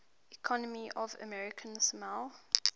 economy of american samoa